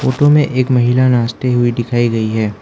तुम्हे एक महिला नाचते हुए दिखाई गई है।